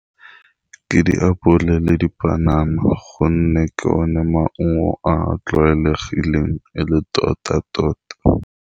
Ke diapole le dipanana gonne ke one maungo a a tlwaelegileng e le tota-tota.